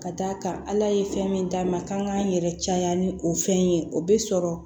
Ka d'a kan ala ye fɛn min d'a ma k'an k'an yɛrɛ caya ni o fɛn ye o bɛ sɔrɔ